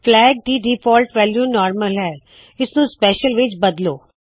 flag ਦੀ default value normal ਹੈ - ਇਸ ਨੂੰ ਸਪੈਸ਼ਲ ਵਿੱਚ ਤਬਦੀਲ ਕਰੋ